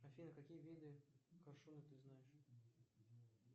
афина какие виды коршуна ты знаешь